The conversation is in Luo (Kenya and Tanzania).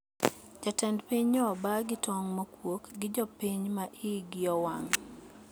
Jatend piny nyo oba gi tong` mokuok gi jo piny ma igi owang`